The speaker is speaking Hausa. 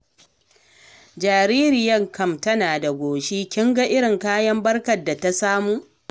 Jaririyar kam tana da goshi, kin ga irin tarin kayan barkar da ta samu.